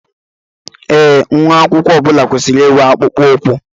Ee, nwa akwụkwọ ọbula kwesịrị inwe akpụkpọ ụkwụ